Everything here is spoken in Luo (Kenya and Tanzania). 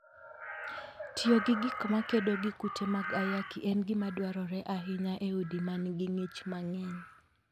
Tiyo gi gik makedo gi kute mag ayaki en gima dwarore ahinya e udi ma nigi ng'ich mang'eny.